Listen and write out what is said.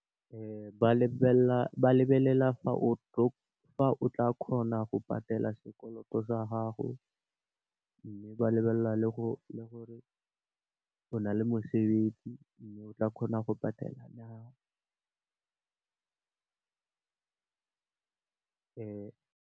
Ba lebelela fa o tla kgona go patela sekoloto sa gago. Mme, ba lebelela le gore o na le mosebetsi, mme, o tla kgona go patela na .